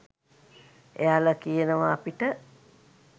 එයාල කියනව අපිට